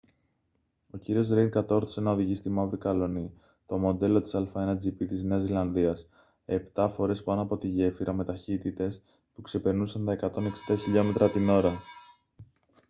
ο κ ρέιντ κατόρθωσε να οδηγήσει τη μαύρη καλλονή το μοντέλο a1gp της νέας ζηλανδίας επτά φορές πάνω από τη γέφυρα με ταχύτητες που ξεπερνούσαν τα 160 χιλιόμετρα την ώρα